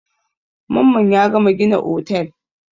Mamman ya gama gina otel.